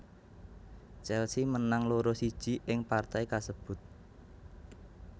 Chelsea menang loro siji ing partai kasebut